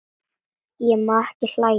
Ég má ekki hlæja.